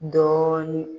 Dɔɔnin